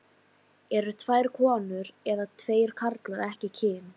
Eru tvær konur eða tveir karlar ekki kyn?